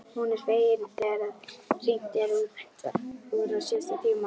Hún er fegin þegar hringt er út úr síðasta tíma.